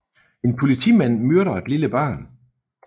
En politimand myrder et lille barn